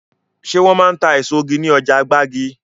Ṣé wọn máa ń ta èso ní ọjà gbági?